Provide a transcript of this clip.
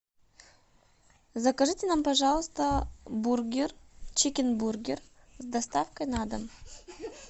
закажите нам пожалуйста бургер чикенбургер с доставкой на дом